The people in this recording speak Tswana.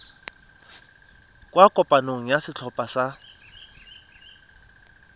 kwa kopanong ya setlhopha sa